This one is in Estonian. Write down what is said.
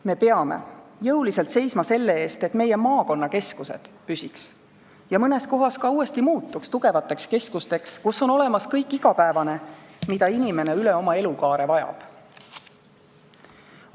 Me peame jõuliselt seisma selle eest, et meie maakonnakeskused püsiks tugevate keskustena , kus on olemas kõik igapäevane, mida inimene üle oma elukaare vajab.